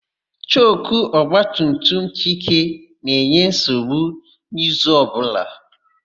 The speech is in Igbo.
Choku ọgbatumtum Chike na-enye nsogbu n'izu ọbụla.